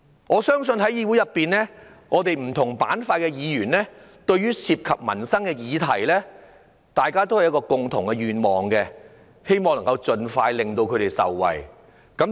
我相信對於涉及民生的議題，議會裏不同板塊的議員也有共同願望，就是希望能夠盡快通過，令市民受惠。